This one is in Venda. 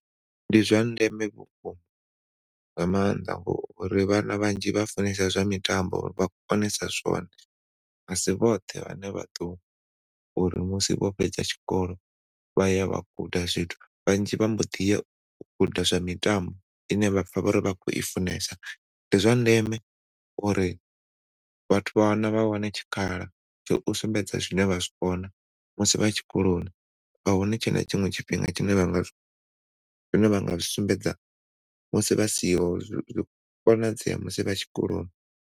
Ndi zwa ndeme vhukuma nga mannḓa ngauri vhana vhanzhi vha funesa zwa mitambo vha konesa zwone. Asi vhoṱhe vhane vha ḓo uri musi vho fhedza tshikolo vhaya vha guda zwithu vhanzhi vha mboḓi ya u guda zwa mitambo ine ya vha uri vha khou i funesa ndi zwa ndeme uri vhathu vha wane tshikhala tsho sumbedza zwine vha zwi kona musi vha tshikoloni a hu tshena tshiṅwe tshifhinga tshine vhanga zwi sumbedza musi vha siho zwi konadzea musi tshikoloni.